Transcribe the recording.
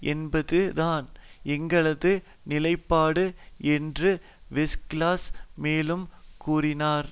என்பதுதான் எங்களது நிலைப்பாடு என்று வெஸ்கிளாஸ் மேலும் கூறினார்